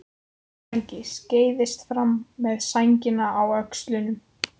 Helgi skreiðist fram með sængina á öxlunum.